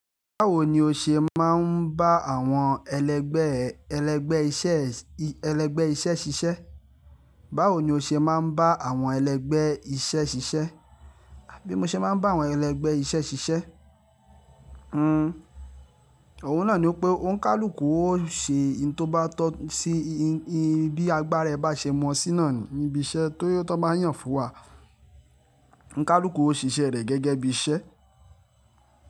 Báwo ni o ṣe máa ń bá àwọn ẹlẹgbẹ́ ẹ, ẹlẹgbẹ́ iṣẹ́, ẹlẹgbẹ́ iṣẹ́ ṣiṣẹ́? Báwo ni o ṣe máa ń bá àwọn ẹlẹgbẹ́ iṣẹ́ ṣiṣẹ́? Bí mo ṣe máa ń bá àwọn ẹlẹgbẹ́ iṣẹ́ ṣiṣẹ́? Nn, òhun náà ni pé ó ń kálùkù ó ṣe ohun tó bá tọ́ sí i, bí agbára ẹ bá ṣe mọ́ ṣíná níbi iṣẹ́ tó bá yàn fún wa. Onikálùkù ó ṣiṣẹ́ rẹ̀ gẹ́gẹ́ bí iṣẹ́